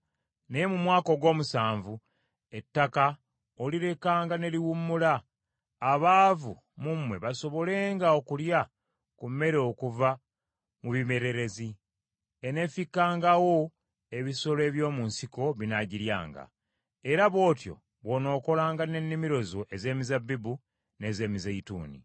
naye mu mwaka ogw’omusanvu ettaka olirekanga ne liwummula, abaavu mu mmwe basobolenga okulya ku mmere okuva mu bimererezi; eneefikkangawo ebisolo by’omu nsiko binaagiryanga. Era bw’otyo bw’onookolanga n’ennimiro zo ez’emizabbibu n’ez’emizeeyituuni.